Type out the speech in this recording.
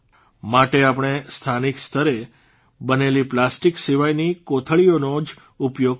માટે આપણે સ્થાનિક સ્તરે બનેલી પ્લાસ્ટીક સિવાયની કોથળીઓનો જ ઉપયોગ કરીએ